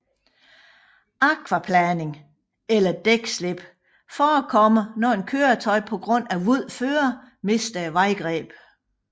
Akvaplaning eller dækslip forekommer når et køretøj på grund af vådt føre mister vejgrebet